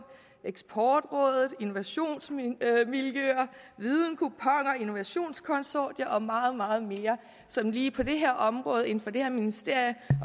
eksportrådet innovationsmiljøer videnkuponer innovationskonsortier og meget meget mere som lige på det her område inden for det her ministerium